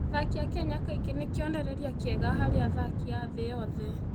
Athaki a Kenya kaingĩ nĩ kĩonereria kĩega harĩ athaki a thĩ yothe.